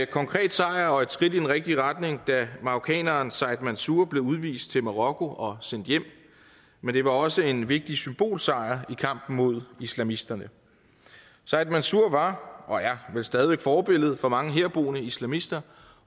konkret sejr og et skridt i den rigtige retning da marokkaneren said mansour blev udvist til marokko og sendt hjem men det var også en vigtig symbolsejr i kampen mod islamisterne said mansour var og er vel stadig væk forbillede for mange herboende islamister